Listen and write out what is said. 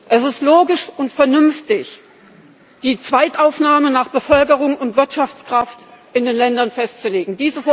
Es ist logisch und vernünftig, die Zweitaufnahme nach Bevölkerung und Wirtschaftskraft in den Ländern festzulegen.